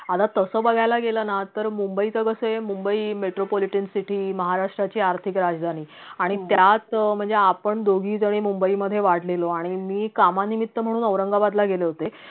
आता तस बघायला गेल ना तर mumbai च कसए, mumbai metro politician city महाराष्ट्राची आर्थिक राजधानी आणि त्यात म्हणजे आपण दोघीजनी mumbai मधे वाढलेलो आणि मी कामानिमित्त म्हणून औरंगाबादला गेले होते